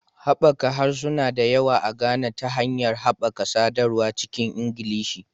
Haɓaka harsuna da yawa a Ghana ta hanyar haɓaka sadarwa cikin Ingilishi